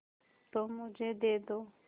तुम मुझे दे दो